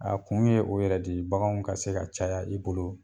A kun ye o yɛrɛ de ye baganw ka se ka caya i bolo.